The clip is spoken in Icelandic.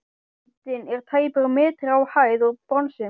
Myndin er tæpur metri á hæð úr bronsi.